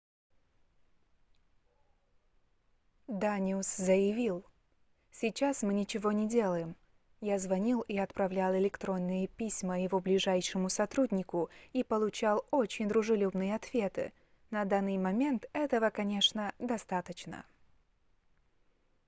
даниус заявил сейчас мы ничего не делаем я звонил и отправлял электронные письма его ближайшему сотруднику и получал очень дружелюбные ответы на данный момент этого конечно достаточно